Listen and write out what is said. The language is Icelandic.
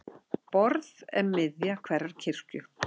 Borð er miðja hverrar kirkju.